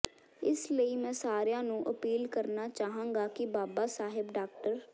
ਇਸ ਲਈ ਮੈਂ ਸਾਰਿਆਂ ਨੂੰ ਅਪੀਲ ਕਰਨਾ ਚਾਹਾਂਗਾ ਕਿ ਬਾਬਾ ਸਾਹਿਬ ਡਾ